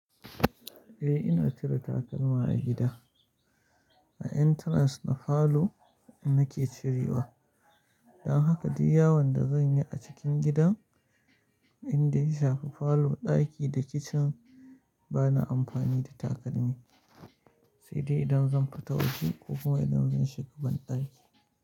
Eh ina cire takalma a gida, a entrance na palour nake cirewa. Don haka duk yawon da zanyi a cikin gidan indai ya shafi falo ɗaki da kicin bana amfani da takalmi, sai dai idan zan fita waje ko kuma idan zan shiga banɗaki.